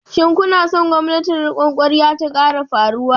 Shin kuna son gwamnatin rikon kwarya ta sake farawa?